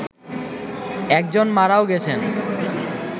একজন মারাও গেছেন